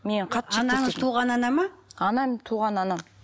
мені қатты анаңыз туған ана ма анам туған анам